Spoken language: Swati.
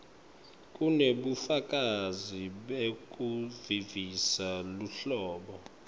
kunebufakazi bekuvisisa luhlobo